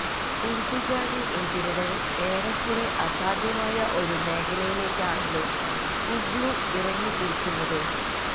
ഉര്ദുഗാനെ എതിരിടല് ഏറക്കുറെ അസാധ്യമായ ഒരു മേഖലയിലേക്കാണല്ലോ ഒഗ്ലു ഇറങ്ങിത്തിരിക്കുന്നത്